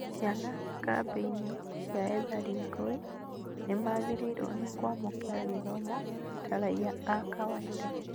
Ciana kambĩ-inĩ cia ethari ngũĩ nĩmagĩrĩirwo nĩ kwamũkĩra gĩthomo ta raia a kawaida